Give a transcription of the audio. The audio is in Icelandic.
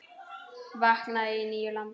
Vaknaði í nýju landi.